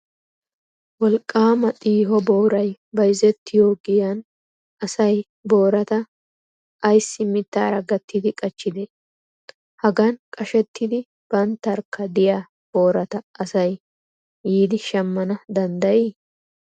Wolqqaama xiiho boorayi bayizettiyoo giyaan asayi booraata ayissi mittaara gattidi qachchidee? Hagan qashettidi banttarkka diyaa boorata asayi yiidi shammana danddayii?